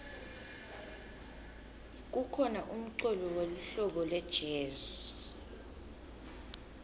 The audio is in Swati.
kukhona umculo welihlobo lejezi